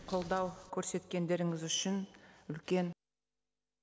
қолдау көрсеткендеріңіз үшін үлкен